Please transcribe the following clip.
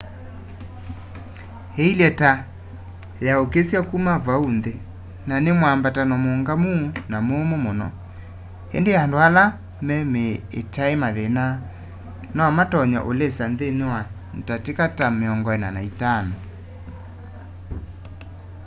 ĩilye ta yaũkĩsya kuma vau nthĩ na nĩ mwambato mũũngamu na mũmũ mũno ĩndĩ andũ ala me mĩĩ ĩtaĩ mathĩna no matonye ũlĩsa nthĩnĩ wa ndatĩka ta 45